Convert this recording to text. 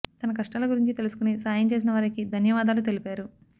తన కష్టాల గురించి తెలుసుకుని సాయం చేసిన వారికి ధన్యవాదాలు తెలిపారు